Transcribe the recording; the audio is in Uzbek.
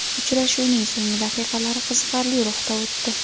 Uchrashuvning so‘nggi daqiqalari qiziqarli ruhda o‘tdi.